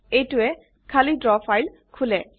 এইটোৱে খালি draw file খুলে